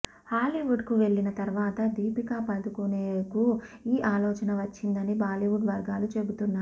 హాలీవుడ్కు వెళ్లిన తర్వాత దీపికాపదుకునేకు ఈ ఆలోచన వచ్చిందని బాలీవుడ్ వర్గాలు చెబుతున్నాయి